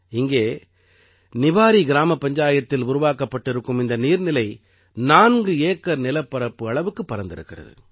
இங்கே நிவாரி கிராமப் பஞ்சாயத்தில் உருவாக்கப்பட்டிருக்கும் இந்த நீர்நிலை 4 ஏக்கர் நிலப்பரப்பு அளவுக்குப் பரந்திருக்கிறது